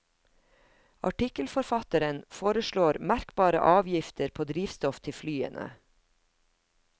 Artikkelforfatteren foreslår merkbare avgifter på drivstoff til flyene.